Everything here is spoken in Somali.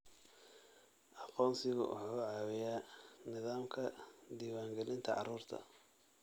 Aqoonsigu wuxuu caawiyaa nidaamka diiwaangelinta carruurta.